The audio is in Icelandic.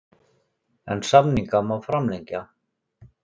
En samninga má framlengja.